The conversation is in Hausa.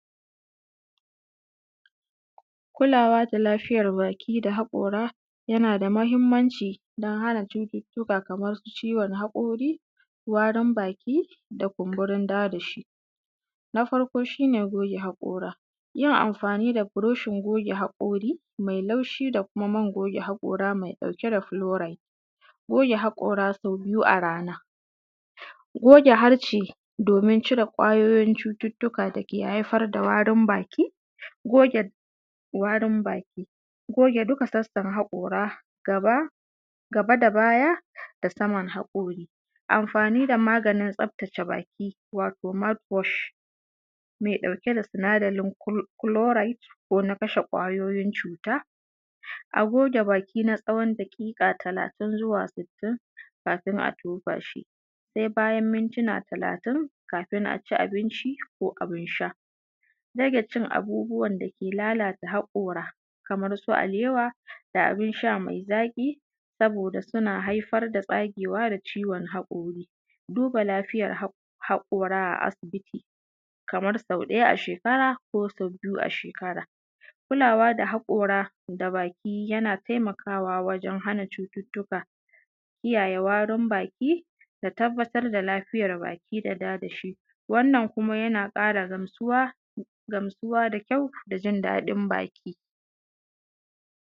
Kulawa da lafiyar baki da haƙora yana da muhimmanci don hana cututtuka kamar ciwon haƙori, warin baki da kumburin dadashi. Na farko shi ne goge haƙora, yin amfani da burushin goge haƙori mai laushi da kuma man goge haƙora mai ɗauke da chloride. Goge haƙora sau biyu a rana, goge harshe domin cire ƙwayoyin cututtuka da ke haifar da warin baki, goge….. warin baki, goge duka tsakar haƙora, gaba........gaba da baya, da saman haƙori. Amfani da maganin tsaftace baki wato mouth-wash mai ɗauke da sinadarin chloride ko na kashe ƙwayoyin cuta. A goge baki na tsawon daƙiƙa talatin zuwa sittin kafin a tofa shi, sai bayan mintuna talatin kafin a ci abinci ko abin sha. Rage cin abubuwan da ke lalata haƙora kamar su alewa da abin sha mai zaƙi saboda suna haifar da tsagewa da ciwon haƙori. Duba lafiyar haƙora a asibiti kamar sau ɗaya a shekara ko sau biyu a shekara. Kulawa da haƙora da baki yana taimakawa wajen hana cututtuka, kiyaye warin baki da tabbatar da lafiyar baki da dadashi. Wannan kuma yana ƙara gamsuwa da kyau da jin daɗin baki.